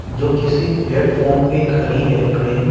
जो किसी प्लेटफार्म पे खड़ी है ट्रेन ।